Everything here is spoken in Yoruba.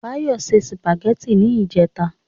Báyọ̀ ṣe sùpàgẹ́tì ní ìjẹta